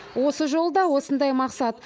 осы жолы да осындай мақсат